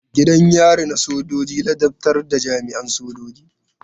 Gidan yari na sojoji ladabtar da jami'an sojoji.